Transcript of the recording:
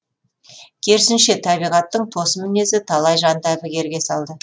керісінше табиғаттың тосын мінезі талай жанды әбігерге салды